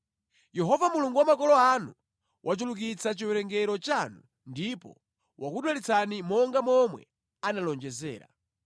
Yehova Mulungu wa makolo anu wachulukitsa chiwerengero chanu ndipo wakudalitsani monga momwe analonjezera!